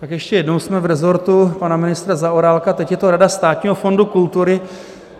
Tak ještě jednou, jsme v resortu pana ministra Zaorálka, teď je to Rada Státního fondu kultury.